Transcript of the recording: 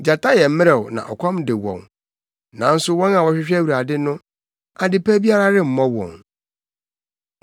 Gyata yɛ mmerɛw na ɔkɔm de wɔn, nanso wɔn a wɔhwehwɛ Awurade no, ade pa biara remmɔ wɔn.